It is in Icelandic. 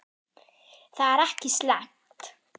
Það er ekki slæmt.